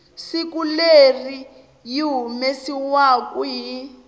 siku leri yi humesiwaku hi